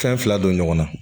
Fɛn fila don ɲɔgɔn na